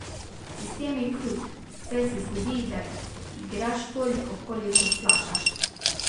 Sistem je krut, saj se zgodi, da igraš toliko, kolikor plačaš.